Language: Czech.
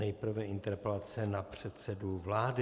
Nejprve interpelace na předsedu vlády.